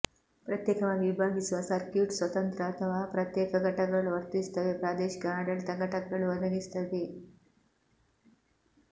ಪ್ರತ್ಯೇಕವಾಗಿ ವಿಭಾಗಿಸುವ ಸರ್ಕ್ಯೂಟ್ ಸ್ವತಂತ್ರ ಅಥವಾ ಪ್ರತ್ಯೇಕ ಘಟಕಗಳು ವರ್ತಿಸುತ್ತವೆ ಪ್ರಾದೇಶಿಕ ಆಡಳಿತ ಘಟಕಗಳು ಒದಗಿಸುತ್ತದೆ